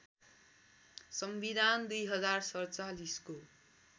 संविधान २०४७ को